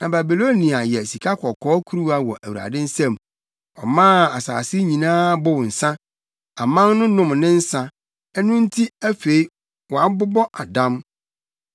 Na Babilonia yɛ sikakɔkɔɔ kuruwa wɔ Awurade nsam; ɔmaa asase nyinaa bow nsa. Aman no nom ne nsa; ɛno nti, afei wɔabobɔ adam.